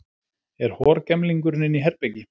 Er horgemlingurinn inni í herbergi?